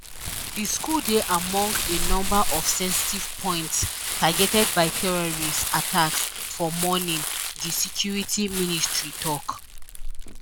di school dey among a number of sensitive points targeted by terrorist attacks for morning di security ministry tok